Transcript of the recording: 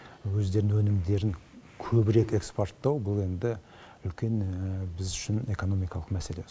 өздерінің өнімдерін көбірек экспорттау бұл енді үлкен біз үшін экономикалық мәселе